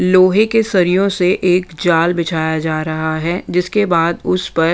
लोहे के सरियों से एक जाल बिछाया जा रहा है जिसके बाद उस--